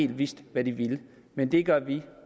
vidst hvad den ville men det gør vi